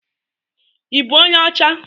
Ibu onye ọcha?